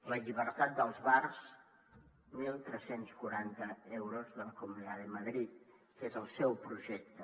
la llibertat dels bars tretze quaranta euros de la comunidad de madrid que és el seu projecte